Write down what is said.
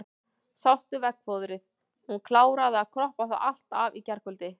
Sástu veggfóðrið, hún kláraði að kroppa það allt af í gærkvöld.